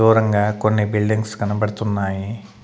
దూరంగా కొన్ని బిల్డింగ్స్ కనబడుతున్నాయి .